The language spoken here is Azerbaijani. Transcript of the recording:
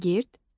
Şagird,